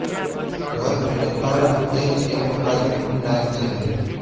ઘર અને બાળક એ જ એમનું આગળનું પ્લાન છે